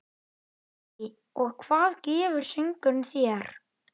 Lillý: Og hvað gefur söngurinn þér?